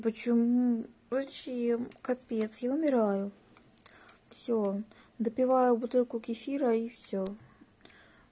почему зачем капец я умираю всё допиваю бутылку кефира и всё